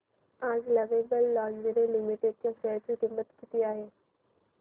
आज लवेबल लॉन्जरे लिमिटेड च्या शेअर ची किंमत किती आहे